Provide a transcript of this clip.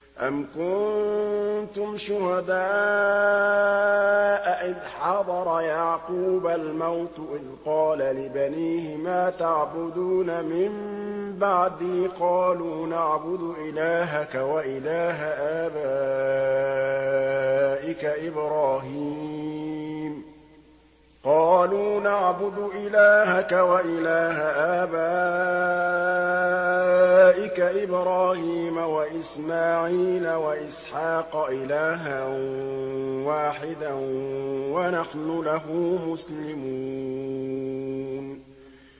أَمْ كُنتُمْ شُهَدَاءَ إِذْ حَضَرَ يَعْقُوبَ الْمَوْتُ إِذْ قَالَ لِبَنِيهِ مَا تَعْبُدُونَ مِن بَعْدِي قَالُوا نَعْبُدُ إِلَٰهَكَ وَإِلَٰهَ آبَائِكَ إِبْرَاهِيمَ وَإِسْمَاعِيلَ وَإِسْحَاقَ إِلَٰهًا وَاحِدًا وَنَحْنُ لَهُ مُسْلِمُونَ